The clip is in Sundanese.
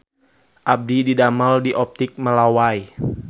Abdi didamel di Optik Melawai